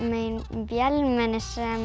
vélmenni